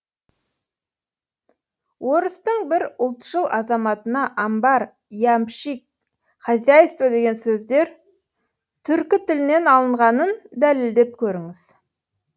орыстың бір ұлтшыл азаматына амбар ямщик хозяйство деген сөздер түркі тілінен алынғанын дәлелдеп көріңіз